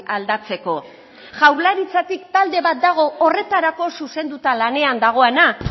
aldatzeko jaurlaritzatik talde bat dago horretarako zuzenduta lanean dagoana